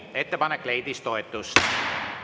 Ettepanek leidis toetust.